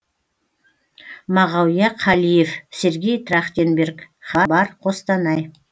мағауия қалиев сергей трахтенберг хабар қостанай